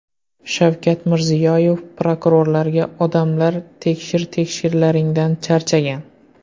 Shavkat Mirziyoyev prokurorlarga: Odamlar tekshir-tekshirlaringdan charchagan .